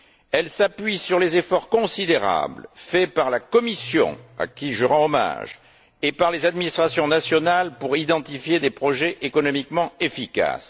Elle s'appuie sur les efforts considérables faits par la Commission à laquelle je rends hommage et par les administrations nationales pour identifier des projets économiquement efficaces.